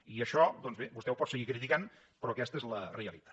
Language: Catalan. i això doncs bé vostè ho pot seguir criticant però aquesta és la realitat